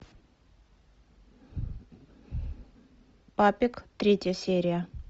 папик третья серия